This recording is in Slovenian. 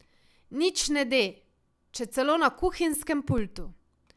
Nič ne de, če celo na kuhinjskem pultu.